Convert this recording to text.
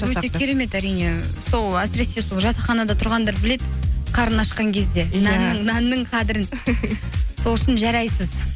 өте керемет әрине сол әсіресе сол жатақханада тұрғандар біледі қарын ашқан кезде нанның қадірін сол үшін жарайсыз